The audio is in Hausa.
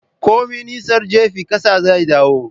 Komi nisar jifa kasa zaidawo.